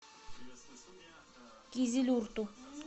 кизилюрту